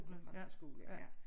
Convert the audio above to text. På Den Franske Skole ja